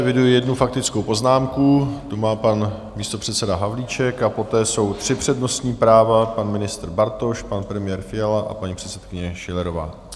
Eviduji jednu faktickou poznámku, tu má pan místopředseda Havlíček, a poté jsou tři přednostní práva, pan ministr Bartoš, pan premiér Fiala a paní předsedkyně Schillerová.